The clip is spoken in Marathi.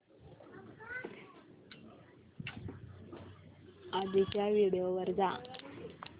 आधीच्या व्हिडिओ वर जा